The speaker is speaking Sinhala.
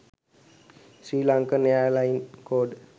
sri lankan airline code